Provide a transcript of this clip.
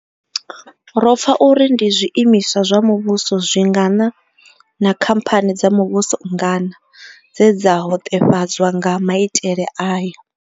Ro pfa uri ndi zwiimiswa zwa muvhuso zwingana na khamphani dza muvhuso nngana dze dza hoṱefhadzwa nga maitele aya.